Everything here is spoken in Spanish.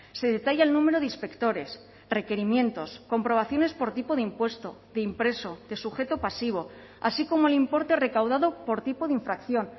se detalla el número de inspectores requerimientos comprobaciones por tipo de impuesto de impreso de sujeto pasivo así como el importe recaudado por tipo de infracción